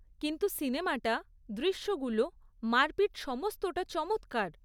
কিন্তু সিনেমাটা, দৃশ্যগুলো, মারপিট সমস্তটা চমৎকার।